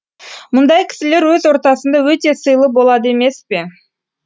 мұндай кісілер өз ортасында өте сыйлы болады емес пе